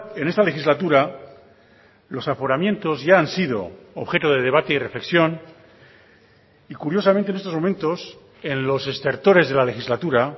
en esta legislatura los aforamientos ya han sido objeto de debate y reflexión y curiosamente en estos momentos en los estertores de la legislatura